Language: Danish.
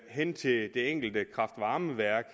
hen til det enkelte kraft varme værk